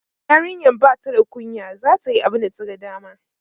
yarinyan Bata da kunya zata Yi abunda ta ga dama